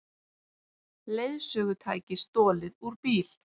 Leiðsögutæki stolið úr bíl